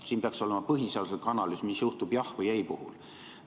Siin peaks olema põhiseaduslik analüüs selle kohta, mis juhtub jah- või ei-vastuse puhul.